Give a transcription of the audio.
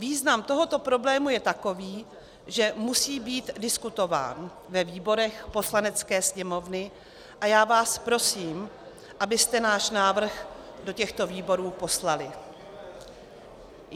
Význam tohoto problému je takový, že musí být diskutován ve výborech Poslanecké sněmovny a já vás prosím, abyste náš návrh do těchto výborů poslali.